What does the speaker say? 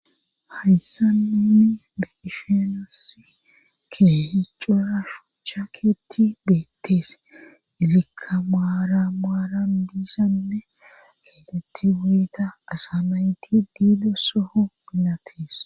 hayssa nuni be7ishe nusi keehi cora shucha keeti beettees izikka maaran maaran diisanne keetetti wuyita asa nayti diido soho milatees